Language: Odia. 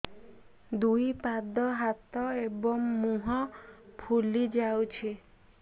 ଦୁଇ ପାଦ ହାତ ଏବଂ ମୁହଁ ଫୁଲି ଯାଉଛି